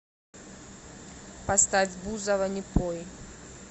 поставь бузова не пой